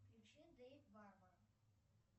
включи дейв варвар